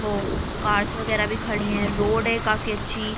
वो कार्स वागेरा भी खड़ी हैं | रोड है काफी अच्छी--